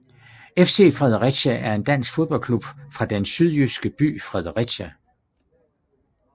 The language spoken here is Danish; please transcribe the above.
FC Fredericia er en dansk fodboldklub fra den sydjyske by Fredericia